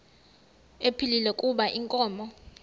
ephilile kuba inkomo